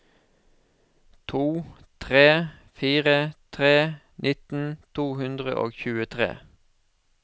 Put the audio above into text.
to tre fire tre nitten to hundre og tjuetre